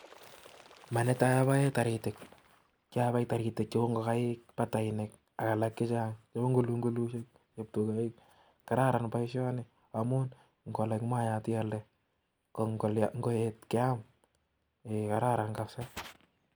Manetaii apae taritik kyapai Tarik cheuu ngokaik AK Tarik chechang cheuu ngulungulishek ,ngokaiik patainik kararan paishanii amun ngolak. maik kealanda konngoeet keam kararan kabsa